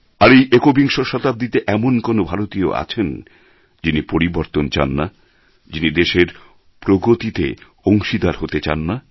আর এই একবিংশ শতাব্দীতে এমন কোন ভারতীয় আছেন যিনি পরিবর্তন চান না যিনি দেশের প্রগতিতে অংশীদার হতে চান না